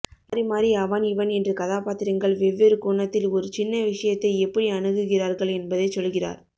மாறிமாறி அவன் இவன் என்று கதாபாத்திரங்கள் வெவ்வேறுகோணத்தில் ஒரு சின்ன விஷயத்தை எப்படி அணுகுகிறார்கள் என்பதைச் சொல்கிறார்